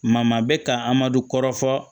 Ma bɛ ka amadu kɔrɔfɔ